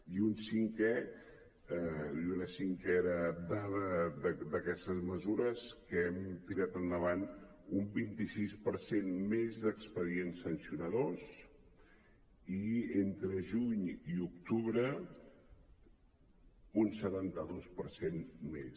i una cinquena dada d’aquestes mesures que hem tirat endavant un vint sis per cent més d’expedients sancionadors i entre juny i octubre un setanta dos per cent més